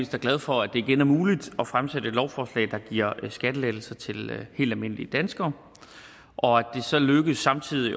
glad for at det igen er muligt at fremsætte et lovforslag der giver skattelettelser til helt almindelige danskere og at det så lykkedes samtidig